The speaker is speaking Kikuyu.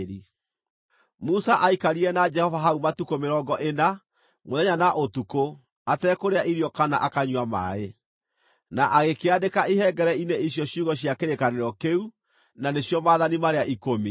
Musa aikarire na Jehova hau matukũ mĩrongo ĩna, mũthenya na ũtukũ, atekũrĩa irio kana akanyua maaĩ. Na agĩkĩandĩka ihengere-inĩ icio ciugo cia kĩrĩkanĩro kĩu, na nĩcio Maathani marĩa Ikũmi.